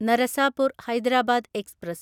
Narasapur Hyderabad express